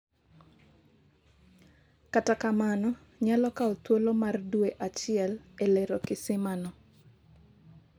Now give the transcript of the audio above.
kata kamano, nyalo kawo thuolo mar dwe achiel e lero kisima no